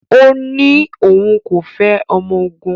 Ó ní òun kò fẹ́ ọmọ ogun